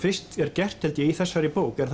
fyrst er gert held ég í þessari bók er